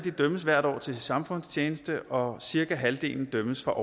dømmes hvert år til samfundstjeneste og cirka halvdelen dømmes for